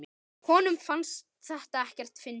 Honum fannst þetta ekkert fyndið.